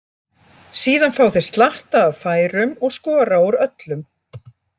Síðan fá þeir slatta af færum og skora úr öllum.